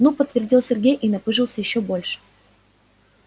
ну подтвердил сергей и напыжился ещё больше